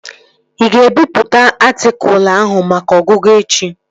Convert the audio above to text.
Ị ga-ebipụta atịkụlu ahụ maka ọgụgụ echi?